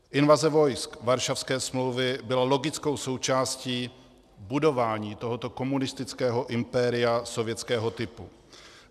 Invaze vojsk Varšavské smlouvy byla logickou součástí budování tohoto komunistického impéria sovětského typu.